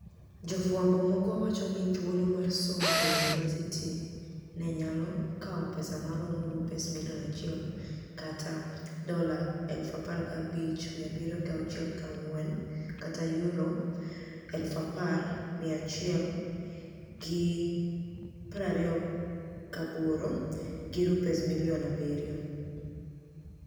Jofwambo moko wacho nii thuolo mar somo e yuniivasiti ni e niyalo kawo pesa maromo rupees milioni 1 ($15,764; £10,168) - gi rupees milioni 7.